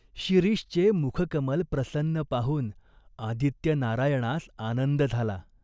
शिरीषचे मुखकमल प्रसन्न पाहून आदित्यनारायणास आनंद झाला.